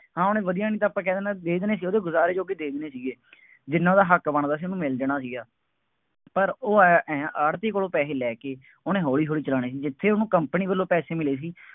ਹਾਂ ਉਹਨੇ ਵਧੀਆ, ਨਹੀਂ ਤਾਂ ਆਪਾਂ ਕਹਿ ਦੇਣਾ, ਸੀ ਦੇ ਦੇਣੇ ਸੀ, ਉਹਦੇ ਗੁਜ਼ਾਰੇ ਜੋਗੇ ਦੇ ਦੇਣੇ ਸੀ। ਜਿੰਨ੍ਹਾ ਉਹਦਾ ਹੱਕ ਬਣਦਾ ਸੀ ਉਹਨੂੰ ਮਿਲ ਜਾਣਾ ਸੀਗਾ। ਪਰ ਉਹ ਅਹ ਆੜ੍ਹਤੀਏ ਕੋਲੋਂ ਪੈਸੇ ਲੈ ਕੇ, ਉਹਨੇ ਹੌਲੀ ਹੌਲੀ ਚਲਾਉਣੇ ਸੀ। ਜਿੱਥੇ ਉਹਨੂੰ company ਵੱਲੋਂ ਪੈਸੇ ਮਿਲੇ ਸੀ।